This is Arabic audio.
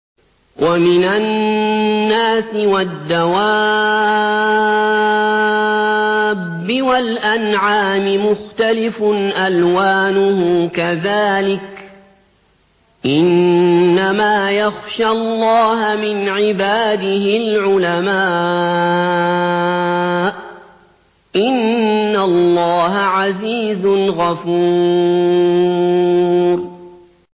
وَمِنَ النَّاسِ وَالدَّوَابِّ وَالْأَنْعَامِ مُخْتَلِفٌ أَلْوَانُهُ كَذَٰلِكَ ۗ إِنَّمَا يَخْشَى اللَّهَ مِنْ عِبَادِهِ الْعُلَمَاءُ ۗ إِنَّ اللَّهَ عَزِيزٌ غَفُورٌ